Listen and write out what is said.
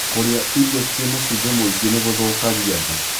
Kurĩa irio ciĩna cumbĩ mũingĩ niguthukagia nda